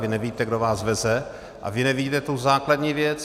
Vy nevíte, kdo vás veze, a vy nevíte tu základní věc: